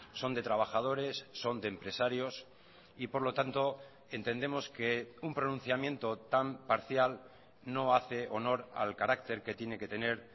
son de trabajadores son de empresarios y por lo tanto entendemos que un pronunciamiento tan parcial no hace honor al carácter que tiene que tener